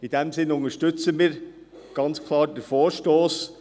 Deshalb unterstützen wir ganz klar den Vorstoss.